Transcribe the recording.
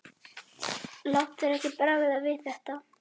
Láttu þér ekki bregða við þetta.